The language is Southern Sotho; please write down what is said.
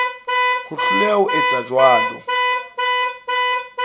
ho hloleha ho etsa jwalo